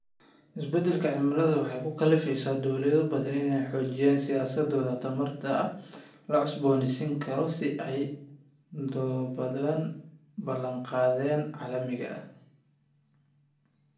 Isbeddelka cimiladu waxay ku kallifaysaa dawlado badan inay xoojiyaan siyaasadahooda tamarta la cusboonaysiin karo si ay u daboolaan ballanqaadyada caalamiga ah.